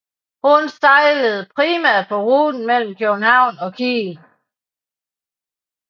Hun sejlede primært på ruten mellem København og Kiel